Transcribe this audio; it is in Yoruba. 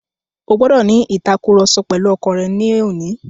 O gbọ́dọ̀ ní ìtàkurọ̀sọ pẹ̀lu ọkọ rẹ ní òní.